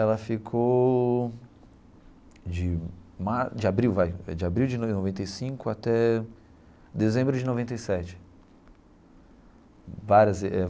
Ela ficou de mar de abril vai é abril de noventa e cinco até dezembro de noventa e sete várias eh.